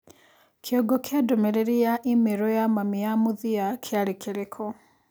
Kĩongo kĩa ndũmĩrĩri ya i-mīrū ya mami ya mũthia kĩarĩ kĩrĩkũ?